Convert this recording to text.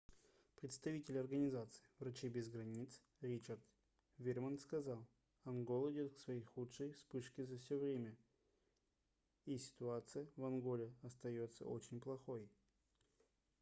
представитель организации врачи без границ ричард вирман сказал ангола идёт к своей худшей вспышке за всё время и ситуация в анголе остаётся очень плохой